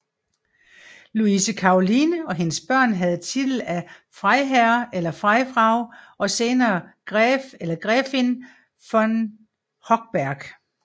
Luise Karoline og hendes børn havde titel af Freiherr eller Freifrau og senere Gräf eller Gräfin von Hochberg